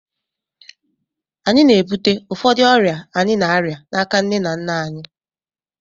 Anyị na-ebute ụfọdụ ọrịa anyị na-arịa n'aka nne na nna anyị